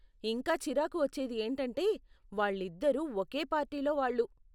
ఇంకా చిరాకు వచ్చేది ఏంటంటే వాళ్ళిద్దరూ ఒకే పార్టీలో వాళ్ళు.